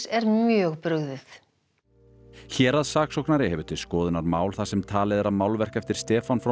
er mjög brugðið héraðssaksóknari hefur til skoðunar mál þar sem talið er að málverk eftir Stefán frá